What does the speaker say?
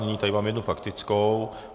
Nyní tady mám jednu faktickou.